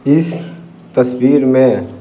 इस तस्वीर में --